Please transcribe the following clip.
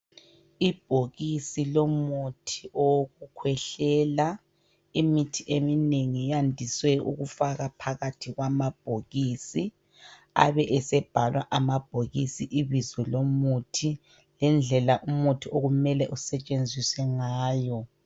Ibhokisi lomuthi owokukhwehlela. Imithi eminengi yandise ukufakwa phakathi kwamabhokisi abe esebhalwa amabhokisi ibizo lomuthi lendlela umuthi okumele usetshenziswe ngayo